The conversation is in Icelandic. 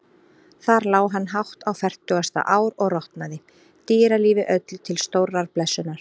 Þar lá hann hátt á fertugasta ár og rotnaði, dýralífi öllu til stórrar blessunar.